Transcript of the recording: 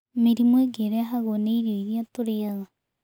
Mĩrimũ ĩngĩ ĩrehagwo nĩ irio irĩa tũrĩaga.